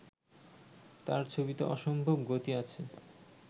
তাঁর ছবিতে অসম্ভব গতি আছে